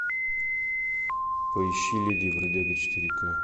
поищи леди и бродяга четыре ка